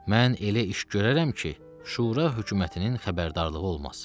Mən elə iş görərəm ki, şura hökumətinin xəbərdarlığı olmaz.